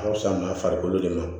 A ka fisa n'a farikolo de ma